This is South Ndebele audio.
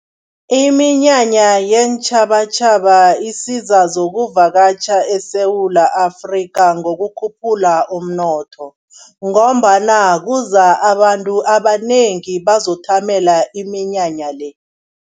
Iminyanya yeentjhabatjhaba isiza zokuvakatjha eSewula Afrika ngokukhuphula umnotho ngombana kuza abantu abanengi bazothamela iminyanya le.